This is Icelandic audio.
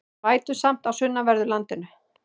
Vætusamt á sunnanverðu landinu